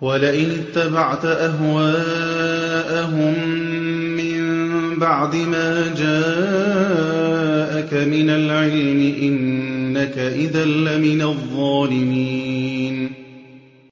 وَلَئِنِ اتَّبَعْتَ أَهْوَاءَهُم مِّن بَعْدِ مَا جَاءَكَ مِنَ الْعِلْمِ ۙ إِنَّكَ إِذًا لَّمِنَ الظَّالِمِينَ